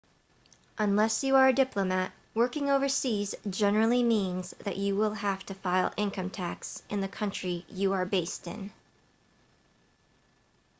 unless you are a diplomat working overseas generally means that you will have to file income tax in the country you are based in